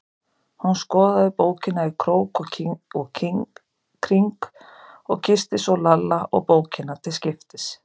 Hún skoðaði bókina í krók og kring og kyssti svo Lalla og bókina til skiptis.